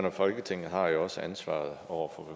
og folketinget har jo også ansvaret over